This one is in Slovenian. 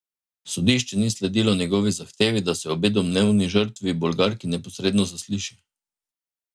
Sodišče ni sledilo njegovi zahtevi, da se obe domnevni žrtvi, Bolgarki, neposredno zasliši.